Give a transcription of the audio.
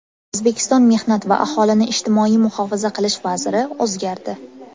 O‘zbekiston mehnat va aholini ijtimoiy muhofaza qilish vaziri o‘zgardi.